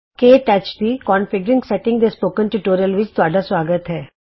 ਕੇ touch ਦੀ configuring setting ਦੇ spoken tutorial ਵਿਚ ਤੁਹਾਡਾ ਸੁਆਗਤ ਹੈ